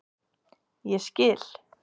Ég skil.